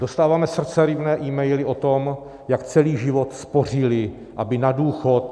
Dostáváme srdceryvné emaily o tom, jak celý život spořili, aby na důchod...